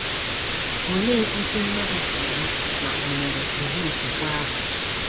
Olee otú mmadụ sị ama ma ò nwere ụdị okwukwe ahụ?